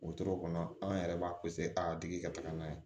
Wotoro kɔnɔ an yɛrɛ b'a a tigi ka taga n'a ye